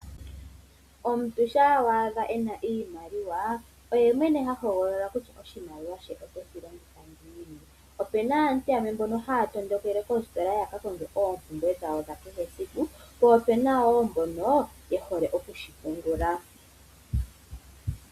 Omuntu shampa wa adha ena iimaliwa oye mwene hahogolola kutya oshimaliwa she oteshi longitha ngiini. Opena aantu yamwe mbono haya tondokele koostola yaka konge oompumbwe dhawo dhakehe esiku, po opena woo mboka yehole okushipungula.